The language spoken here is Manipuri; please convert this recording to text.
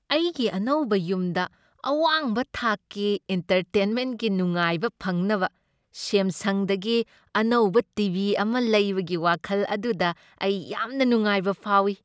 ꯑꯩꯒꯤ ꯑꯅꯧꯕ ꯌꯨꯝꯗ ꯑꯋꯥꯡꯕ ꯊꯥꯛꯀꯤ ꯑꯦꯟꯇꯔꯇꯦꯟꯃꯦꯟꯠꯀꯤ ꯅꯨꯡꯉꯥꯏꯕ ꯐꯪꯅꯕ ꯁꯦꯝꯁꯪꯗꯒꯤ ꯑꯅꯧꯕ ꯇꯤ. ꯚꯤ. ꯑꯃ ꯂꯩꯕꯒꯤ ꯋꯥꯈꯜ ꯑꯗꯨꯗ ꯑꯩ ꯌꯥꯝꯅ ꯅꯨꯡꯉꯥꯏꯕ ꯐꯥꯎꯏ꯫